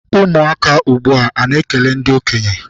Ụmụaka ugbua ana ekele ndị okenye?